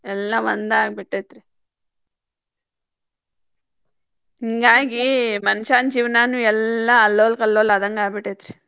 ಎಲ್ಲಾ ಒಂದ್ ಆಗಿಬಿಟ್ಟೆತಿ ಹಿಂಗಾಗಿ ಮನಷಾನ ಜೀವನಾನು ಎಲ್ಲಾ ಅಲ್ಲೊಲ್ಲ ಕಲ್ಲೊಲ ಆದಂಗ್ ಆಗಿಬಿಟ್ಟೆತ್ರಿ.